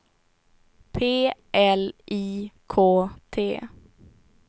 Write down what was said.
P L I K T